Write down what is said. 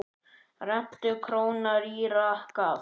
Rentu króna rýra gaf.